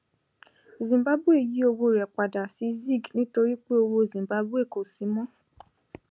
zimbabwe yí owó rẹ padà sí zig nítorí pé owó zimbabwe kò sí mọ